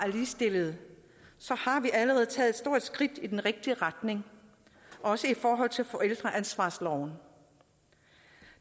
ligestillede har vi allerede taget et stort skridt i den rigtige retning også i forhold til forældreansvarsloven